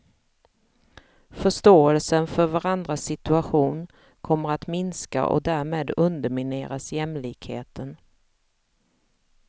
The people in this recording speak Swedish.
Förståelsen för varandras situation kommer att minska och därmed undermineras jämlikheten.